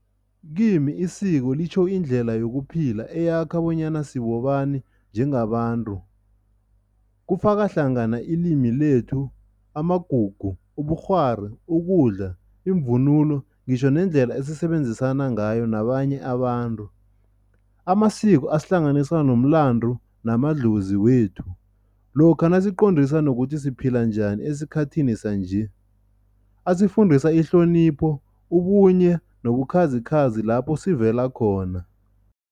Kimi isiko litjho indlela yokuphila eyakha bonyana sibobani njengabantu. Kufaka hlangana ilimi lethu, amagugu ubukghwari, ukudla, iimvunulo ngitjho nendlela esisebenzisana ngayo nabanye abantu. Amasiko asihlanganisa nomlandu namadlozi wethu lokha nasiqondisa nokuthi siphila njani esikhathini sanje. Asifundisa ihlonipho, ubunye nobukhazikhazi lapho sivela khona.